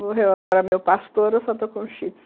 Morreu agora meu pastor, eu só estou com shih tzu.